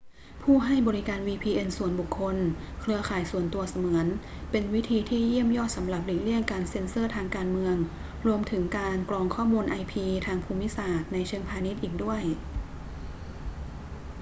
ผู้ให้บริการ vpn ส่วนบุคคล เครือข่ายส่วนตัวเสมือน เป็นวิธีที่เยี่ยมยอดสำหรับหลีกเลี่ยงการเซ็นเซอร์ทางการเมือง รวมถึงการกรองข้อมูล ip ทางภูมิศาสตร์ในเชิงพาณิชย์อีกด้วย